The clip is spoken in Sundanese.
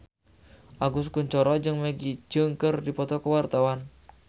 Agus Kuncoro jeung Maggie Cheung keur dipoto ku wartawan